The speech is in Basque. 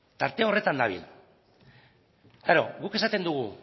tarte horretan dabil klaro guk esaten dugu